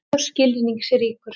Hann er mjög skilningsríkur.